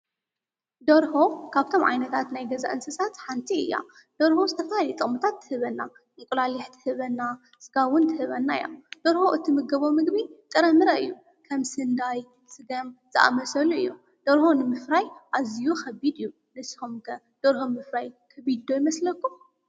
ደርሆ ካብቶም ዓይነታት ናይ ገዛ እንስሳት ሓንቲ እያ፡፡ ደርሆ ዝተፈላለዩ ጥቕምታት ትህበና፡፡ እንቈላሊሕ ትህበና፡፡ ሥጋ ውን ትህበና እያ፡፡ ደርሆ እትምገቦ ምግቢ ጠረምረ እዩ፡፡ ከም ስንዳይ፣ ሥገም ዝኣመሰሉ እዮም፡፡ ደርሆ ንምፍራይ ኣዝዩ ኸቢድ እዩ፡፡ ንስስኹም ከ ደርሆ ምፍራይ ከቢድ ዶ ይመስለኩም?